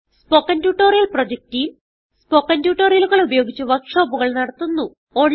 spoken tutorial project team spoken ട്യൂട്ടോറിയലുകൾ ഉപയോഗിച്ച് വർക്ക് ഷോപ്പുകൾ നടത്തുന്നു